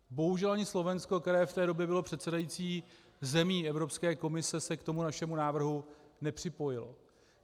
Bohužel ani Slovensko, které v té době bylo předsedající zemí Evropské komise, se k tomu našemu návrhu nepřipojilo.